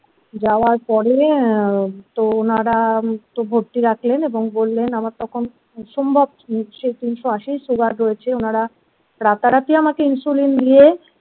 যাবার পরে তো ওনারা তো ভর্তি রাখলেন এবং বললেন আমার তখন অসম্ভব সেই তিনশো আশি সুগার রয়েছে ওনারা রাতারাতি আমাকে ইনসুলিন দিয়ে।